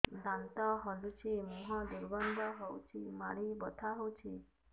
ଦାନ୍ତ ହଲୁଛି ମୁହଁ ଦୁର୍ଗନ୍ଧ ହଉଚି ମାଢି ବଥା ହଉଚି